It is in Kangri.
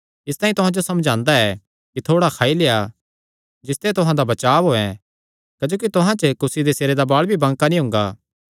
इसतांई तुहां जो समझांदा ऐ कि थोड़ा खाई लेआ जिसते तुहां दा बचाब होयैं क्जोकि तुहां च कुसी दे सिरे दा बाल़ भी बांका नीं हुंगा